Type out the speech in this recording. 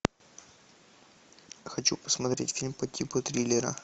хочу посмотреть фильм по типу триллера